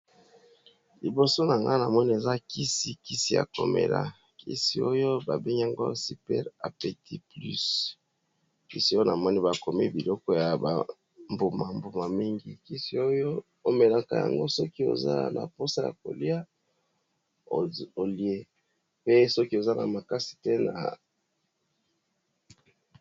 Liboso na nga na moni eza kisi . Kisi ya ko mela, kisi oyo ba bengango super appétit plus . Kisi oyo na moni ba komi biloko ya ba mbuma-mbuma mingi, kisi oyo o melaka yango soki oza na posa ya kolia, olie pe soki oza na makasi te na .